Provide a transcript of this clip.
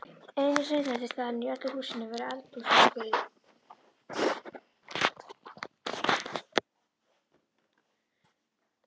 Eina hreinlætisaðstaðan í öllu húsinu var eldhúsvaskurinn.